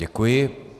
Děkuji.